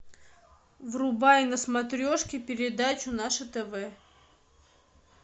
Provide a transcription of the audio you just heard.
врубай на смотрешке передачу наше тв